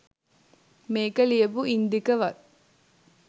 මේක ලියපු ඉන්දික වත්